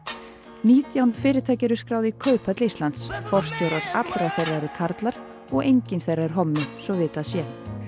nítján fyrirtæki eru skráð í Kauphöll Íslands forstjórar allra þeirra eru karlar og enginn þeirra er hommi svo vitað sé